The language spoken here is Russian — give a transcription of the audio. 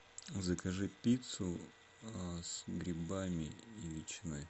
закажи пиццу с грибами и ветчиной